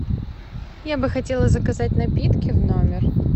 я бы хотела заказать напитки в номер